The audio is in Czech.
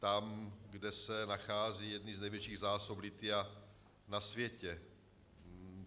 Tam, kde se nacházejí jedny z největších zásob lithia na světě.